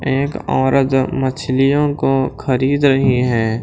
एक औरत मछलियों को खरीद रही है।